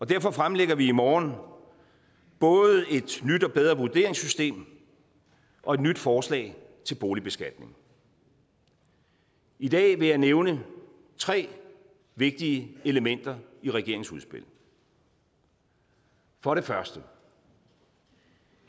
derfor fremlægger vi i morgen både et nyt og bedre vurderingssystem og et nyt forslag til boligbeskatning i dag vil jeg nævne tre vigtige elementer i regeringens udspil for det første